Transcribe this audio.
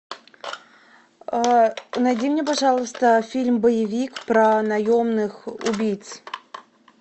найди мне пожалуйста фильм боевик про наемных убийц